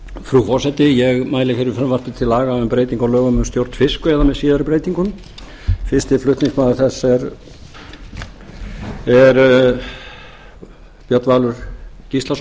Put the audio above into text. frú forseti ég mæli fyrir frumvarpi til laga um breytingar á lögum um stjórn fiskveiða með síðari breytingum fyrsti flutningsmaður þess er björn valur gíslason